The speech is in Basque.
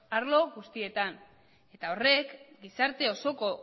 arlo guztietan eta horrek gizarte osoko